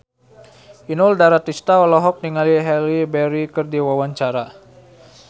Inul Daratista olohok ningali Halle Berry keur diwawancara